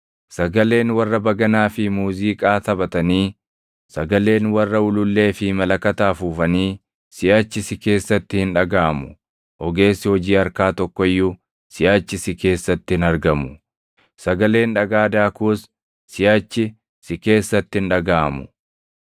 Sagaleen warra baganaa fi muuziiqaa taphatanii, sagaleen warra ulullee fi malakata afuufanii siʼachi si keessatti hin dhagaʼamu. Ogeessi hojii harkaa tokko iyyuu, siʼachi si keessatti hin argamu. Sagaleen dhagaa daakuus, siʼachi si keessatti hin dhagaʼamu.